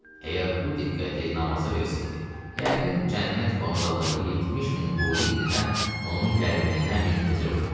Əgər bu diqqəti namaza versəydi, yəqin cənnət vağzalında 70 min huri indidən onun gəlməyinə müntəzir olardı.